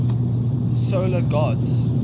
solar gods